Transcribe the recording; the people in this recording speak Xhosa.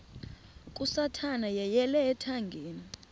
kasathana yeyele ethangeni